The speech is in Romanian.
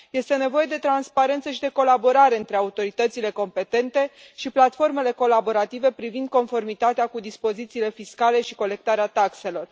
Este nevoie de transparență și de colaborare între autoritățile competente și platformele colaborative privind conformitatea cu dispozițiile fiscale și colectarea taxelor.